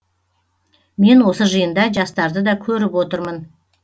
мен осы жиында жастарды да көріп отырмын